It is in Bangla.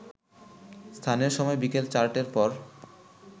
স্থানীয় সময় বিকেল চারটের পর